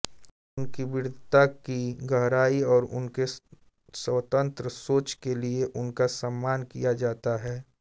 उनकी विद्वता की गहराई और उनके स्वतंत्र सोच के लिए उनका सम्मान किया जाता है